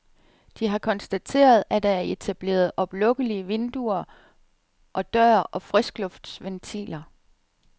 De har konstateret, at der er etableret oplukkelige vinduer og dør og friskluftsventiler.